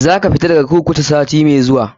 Za ka fita daga kurkuku sati mai zuwa.